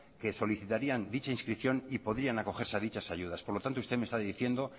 que solicitarían dicha inscripción y podrían acogerse a dichas ayudas por lo tanto usted me está diciendo